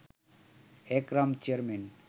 Ekram chairman